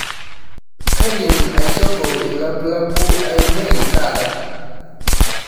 kaidim aishopo ilapulapu ainei taata